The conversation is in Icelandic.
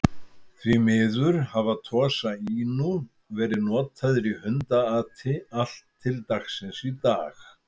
Því miður hafa Tosa Inu verið notaðir í hundaati allt til dagsins í dag.